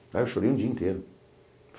Aí eu chorei o dia inteiro.